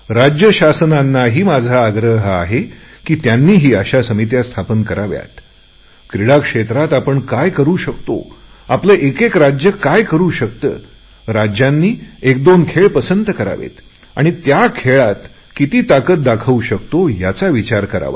राज्य शासनांनाही माझा आग्रह आहे की त्यांनीही अशा समित्या स्थापन कराव्यात क्रीडा क्षेत्रात आपण काय करु शकतो आपले एकेक राज्य काय करु शकते राज्यांनी एक दोन खेळ पसंत करावेत आणि त्या खेळात आपण किती ताकद दाखवू शकतो याचा विचार करावा